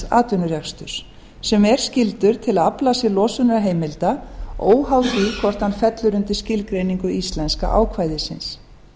atvinnurekstri sem er skyldur til að afla sér losunarheimilda óháð því hvort hann fellur undir skilgreiningu íslenska ákvæðisins